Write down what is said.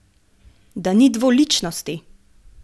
Da ni dvoličnosti?